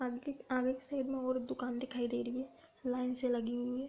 अंकित में और दुकान दिखाई दे रही हैं | लाइन से लगी हुई हैं |